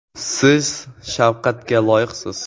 Siz shafqatga loyiqsiz.